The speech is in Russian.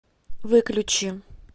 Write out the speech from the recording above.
выключи